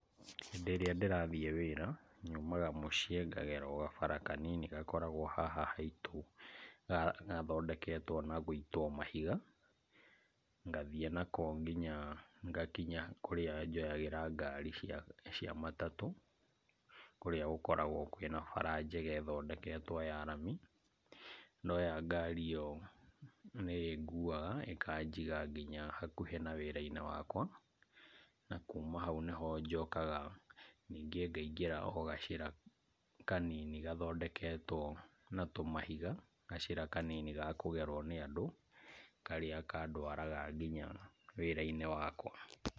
Hĩndĩ ĩrĩa ndĩrathiĩ wĩra, nyumaga mũciĩ ngagera gabara kanini gakorwo o haha haitũ , gathondeketwo na gũitwo mahiga, ngathiĩ nako nginya kũrĩa njoyagĩra ngari cia matatũ, kũrĩa gũkoragwo kwĩna bara njega ĩthondeketwo ya rami, ndoya ngari ĩyo nĩ ĩnguaga ĩkajiga nginya hakuhĩ na wĩra-inĩ wakwa, na kuma hau nĩho njokaga ngaigĩra gacĩra kanini gathondeketwo na tũmahiga , gacĩra kanini gakũgerwo nĩ andũ, karĩa kandwaraga nginya wĩra-inĩ wakwa.